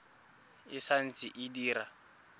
e sa ntse e dira